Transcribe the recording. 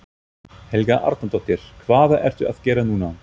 Helga Arnardóttir: Hvað ertu að gera núna?